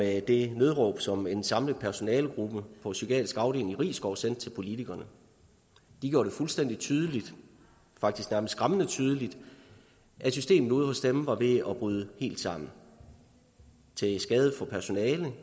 af det nødråb som en samlet personalegruppe på psykiatrisk afdeling i risskov sendte til politikerne de gjorde det fuldstændig tydeligt faktisk nærmest skræmmende tydeligt at systemet ude hos dem var ved at bryde helt sammen til skade for personalet